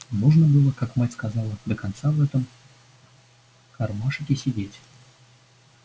нужно было как мать сказала до конца в этом кармашике сидеть